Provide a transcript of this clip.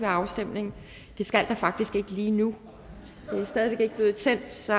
afstemning det skal der faktisk ikke lige nu det er stadig væk ikke blevet tændt så